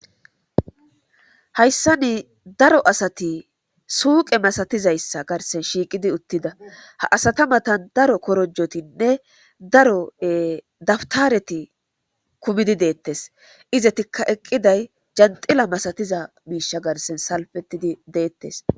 Hayssa nii daro asati suuqe masatizayssa garsen shiiqidi uttida ha asata matan daro korojotinne daro dabtareti kumidi deettes izetikka eqqiday janxila masatiza miisha garsen salfetidi deettes